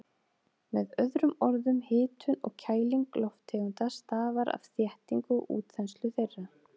Með öðrum orðum, hitun og kæling lofttegunda stafar af þéttingu og útþenslu þeirra.